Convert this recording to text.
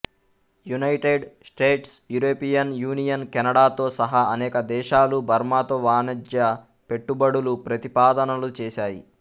United States European Union కెనడాతో సహా అనేక దేశాలు బర్మాతో వాణజ్య పెట్టుబడులు ప్రతిపాదనలు చేసాయి